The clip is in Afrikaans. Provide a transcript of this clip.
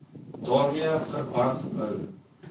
daarmee verband hou